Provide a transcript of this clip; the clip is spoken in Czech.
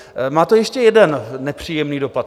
Má to ještě jeden nepříjemný dopad.